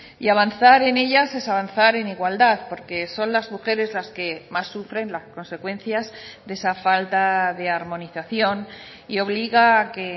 y avanzar en ellas es avanzar en igualdad porque son las mujeres las que más sufren las consecuencias de esa falta de armonización y obliga a que